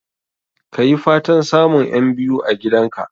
Ka yi fatan samun 'yan biyu a gidan ka